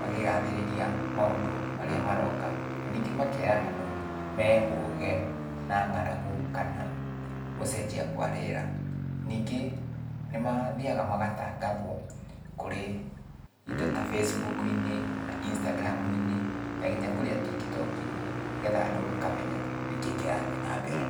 makĩgathĩrĩria maũndũ marĩa maroka, na ningĩ makera andũ mehũge na ng'aragu kana gũcenjia kwa rĩera. Ningĩ nĩmathiaga magatangathwo kũrĩ indo ta Facebook-inĩ, Instagram-inĩ, na kinya kũrĩa tiktok-inĩ, nĩgetha andũ makamenya nĩkĩĩ kĩrathiĩ nambere.